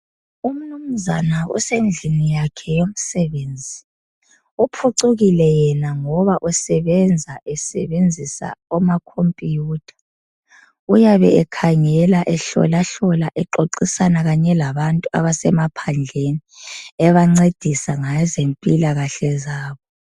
Umnumnzana usemsini wakhe womsebenzi uphucukile yena ngoba besebenzisa ama computer uyabe ekhangela ehlola hlola exoxisana kanye labantu abesemaphandleni ebangcedisa ngeze mpilakahle zabo